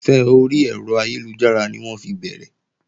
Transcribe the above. Ìfẹ́ orí ẹ̀rọ ayélujára ni wọ́n fi bẹ̀rẹ̀